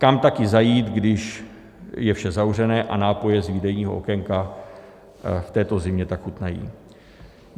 Kam taky zajít, když je vše zavřené a nápoje z výdejního okénka v této zimě tak chutnají?